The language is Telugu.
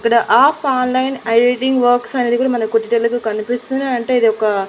ఇక్కడ ఆఫ్ ఆన్లైన్ ఎడిటింగ్ వర్క్స్ అనేది కూడా మనకు డీటెయిల్ గా కనిపిస్తున్నాయి అంటే ఇది ఒక.